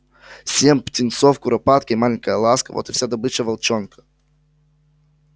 семь птенцов куропатки и маленькая ласка вот и вся добыча волчонка